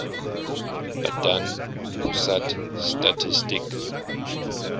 badan pusat statistik